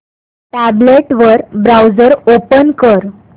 tablet वर browser open कर